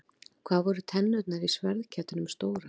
Hvað voru tennurnar í sverðkettinum stórar?